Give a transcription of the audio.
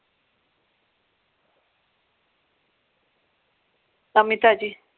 ਨਵੀ ਤਾਜੀ